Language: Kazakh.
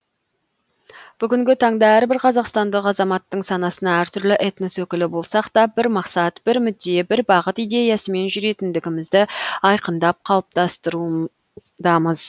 бүгінгі таңда әрбір қазақстандық азаматтың санасына әртүрлі этнос өкілі болсақта бір мақсат бір мүдде бір бағыт идеясымен жүретіндігімізді айқындап қалыптастырудамыз